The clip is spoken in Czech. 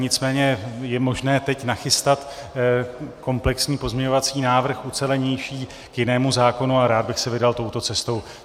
Nicméně je možné teď nachystat komplexní pozměňovací návrh, ucelenější, k jinému zákonu a rád bych se vydal touto cestou.